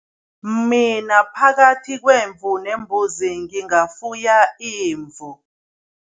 Mina phakathi kwemvu nembuzi, ngingafuya imvu.